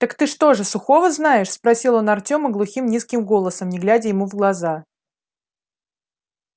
так ты что же сухого знаешь спросил он артёма глухим низким голосом не глядя ему в глаза